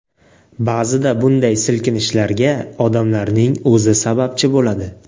Ba’zida bunday silkinishlarga odamlarning o‘zi sababchi bo‘ladi.